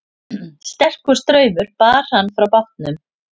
Sterkur straumur bar hann frá bátnum